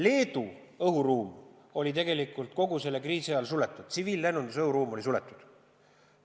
Leedu õhuruum oli kogu selle kriisi ajal suletud, tsiviillennunduse õhuruum oli suletud.